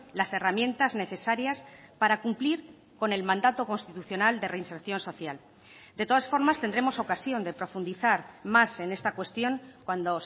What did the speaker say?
las herramientas necesarias para cumplir con el mandato constitucional de reinserción social de todas formas tendremos ocasión de profundizar más en esta cuestión cuando